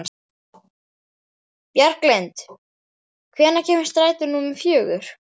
Bjarglind, hvenær kemur strætó númer fjögur?